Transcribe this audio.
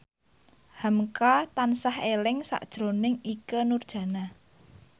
hamka tansah eling sakjroning Ikke Nurjanah